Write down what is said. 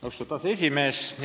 Austatud aseesimees!